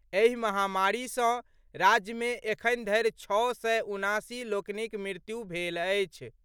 एहि महामारी सँ राज्य मे एखन धरि छओ सय उनासी लोकनिक मृत्यु भेल अछि।